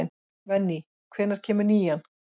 Venný, hvenær kemur nían?